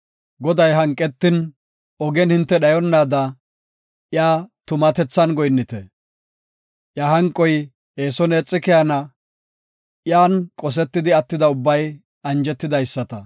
Goday hanqetin ogen hinte dhayonnaada iya tumatethan goyinnite. Iya hanqoy eeson eexi keyana; iyan qosetidi attida ubbay anjetidaysata.